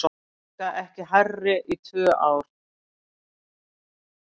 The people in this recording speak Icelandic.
Verðbólga ekki hærri í tvö ár